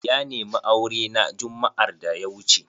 Ya nemi aure na jumma'ar da ya wuce.